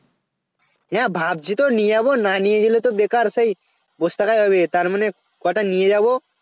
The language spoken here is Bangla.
না ভাবছি তো নিয়ে যাব না নিয়ে গেলে তো বেকার সেই বসে থাকা যাবে না তার মানে কটা নিয়ে যাব